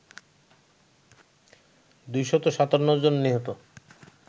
২৫৭ জন নিহত